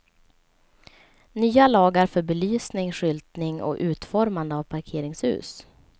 Nya lagar för belysning, skyltning och utformande av parkeringshus.